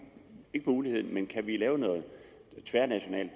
ikke mulighed men kan vi lave noget tværnationalt